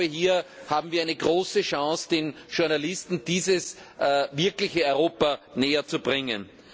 Hier haben wir eine große Chance, den Journalisten das wirkliche Europa näherzubringen.